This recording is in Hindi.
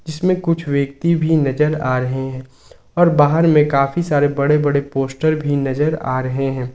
इसमें कुछ व्यक्ति भी नजर आ रहे हैं और बाहर में काफी सारे बड़े बड़े पोस्टर भी नजर आ रहे हैं।